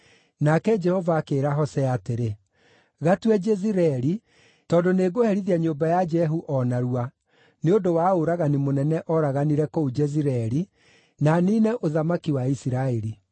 Nake Jehova akĩĩra Hosea atĩrĩ, “Gatue Jezireeli, tondũ nĩngũherithia nyũmba ya Jehu o narua nĩ ũndũ wa ũragani mũnene ooraganire kũu Jezireeli, na niine ũthamaki wa Isiraeli.